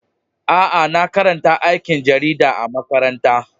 Aa, na karanta aikin jarida a'makaranta.